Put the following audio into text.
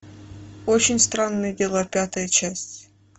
очень странные дела пятая часть